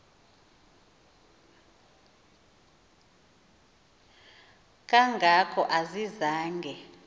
kanga ko ayizange